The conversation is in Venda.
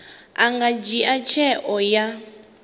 a nga dzhia tsheo ya